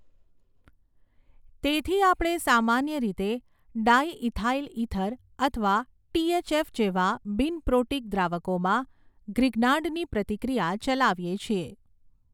તેથી આપણે સામાન્ય રીતે ડાયઈથાઈલ ઇથર અથવા ટીએચએફ જેવા બિન પ્રોટીક દ્રાવકોમાં ગ્રિગ્નાર્ડની પ્રતિક્રિયા ચલાવીએ છીએ.